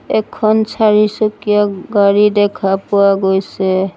এখন চাৰিচকীয়া গাড়ী দেখা পোৱা গৈছে।